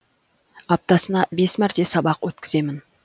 аптасына бес мәрте сабақ өткіземін